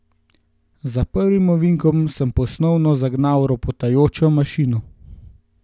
Za prvim ovinkom sem ponovno zagnal ropotajočo mašino.